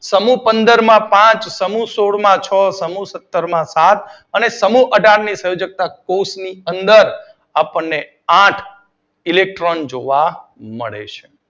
સમૂહ પંદર માં પાંચ, સમૂહ સોળ માં છ, સમૂહ સત્તર માં સાત અને સમૂહ અઢાર સંયોજકતા કોષ્ટક ની અંદર આપડને આઠ ઇલેક્ટ્રોન જોવા મળે છે